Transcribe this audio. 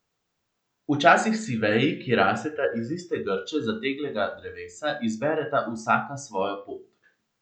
Včasih si veji, ki rasteta iz iste grče zateglega drevesa, izbereta vsaka svojo pot.